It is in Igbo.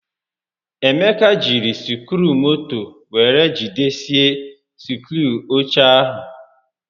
Emeka jiri sikruumoto were jidesie sikruu oche ahụ